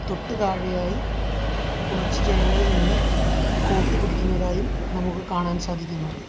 തൊട്ടു താഴെയായി കുറച്ചു ജനങ്ങൾ നിന്ന് കോഫി കുടിക്കുന്നതായും നമുക്ക് കാണാൻ സാധിക്കുന്നുണ്ട്.